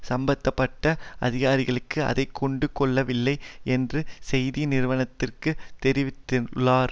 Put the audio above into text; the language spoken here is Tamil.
சம்பந்த பட்ட அதிகாரிகள் அதை கண்டுகொள்ளவில்லை என்றும் செய்தி நிறுவனத்திற்கு தெரிவித்துள்ளார்